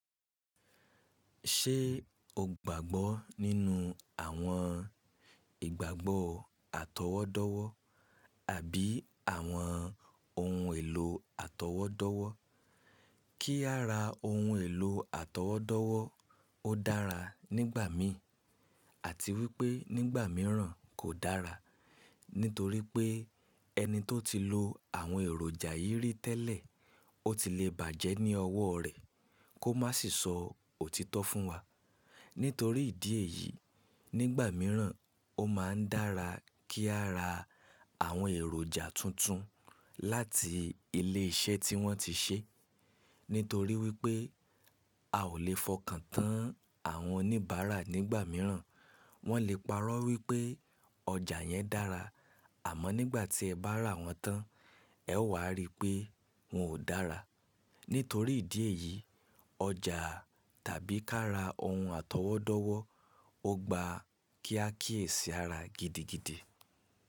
Ṣé o gbàgbọ́ nínú àwọn ìgbàgbọ́ àtọwọ́dọ́wọ́ àbí àwọn ohun èlò àtọwọ́dọ́wọ́? Kí á ra ohun èlò àtọwọ́dọ́wọ́ ó dára nígbà mí àti wípé nígbà mìíràn kò dára. Nítorí pé ẹni tó ti lo àwọn èròjà yí rí tẹ́lẹ̀, ó ti le bàjẹ́ ní ọwọ́ rẹ̀ kó má sì sọ òtítọ́ fún wa. Nítorí ìdí èyí, nígbà mìíràn ó máa ń dára kí a ra àwọn èròjà tuntun láti ilé iṣẹ́ tí wọ́n ti ṣe. Nítorí wípé a ò le fọkàn tán àwọn oníbàárà nígbà mìíràn. Wọ́n lè parọ́ wípé ọjà yẹn dára àmọ́ nígbà tí ẹ bá ra wọ́n tán ẹ ó wà á rí pé wọn ò dára. Nítorí ìdí èyí ọjà tàbí kí a ra ohun àtọwọ́dọ́wọ́ ó gba kíá kíyèsí ara gidigidi.